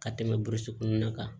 Ka tɛmɛ burusi kɔnɔna kan